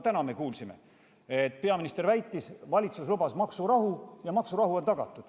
Täna me kuulsime, kuidas peaminister väitis, et valitsus lubas maksurahu ja maksurahu on tagatud.